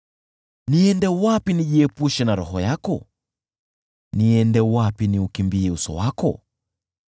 Niende wapi nijiepushe na Roho yako? Niende wapi niukimbie uso wako?